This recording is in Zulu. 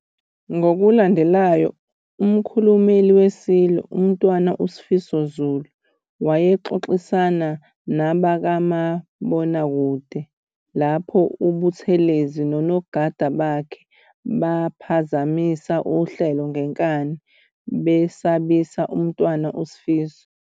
Ngokulandelayo, umkhulumeli weSilo, uMntana Sifiso Zulu, wayexoxisana nabakamabonakube lapho uButhelezi nonogada bakhe baphazamisa uhlelo ngenkani, besabisa uMntwana uSifiso.